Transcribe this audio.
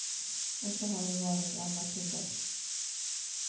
Och så har det varit i alla tider.